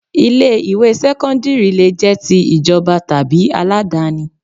Ilé ìwé sẹ́kọ́ńdírì lè jẹ́ ti ìjọba tàbí aládáni